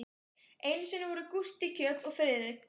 Einu sinni voru Gústi kjöt og Friðrik